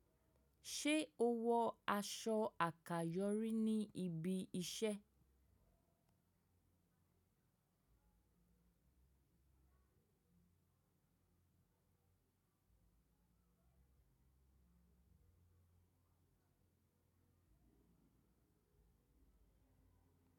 Ṣé o wọ aṣọ àkàyọ́ rí ní ibi iṣẹ́?